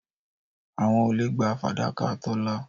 Àwọn olè gba fàdákà Tọ́lá.